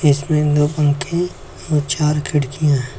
इसमें दो पंखे और चार खिड़कियां हैं।